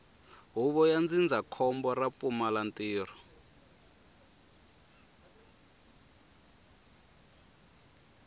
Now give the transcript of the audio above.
huvo ya ndzindzakhombo ra vupfumalantirho